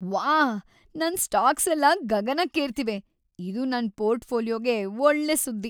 ವಾಹ್, ನನ್ ಸ್ಟಾಕ್ಸೆಲ್ಲ ಗಗನಕ್ಕೇರ್ತಿವೆ! ಇದು ನನ್ ಪೋರ್ಟ್‌ಫೋಲಿಯೊಗೆ ಒಳ್ಳೆ ಸುದ್ದಿ.